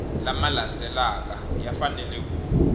lama landzelaka ya fanele ku